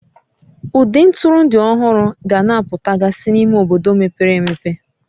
Ụdị ntụrụndụ ọhụrụ ga na-apụtagasị n'ime obodo mepere emepe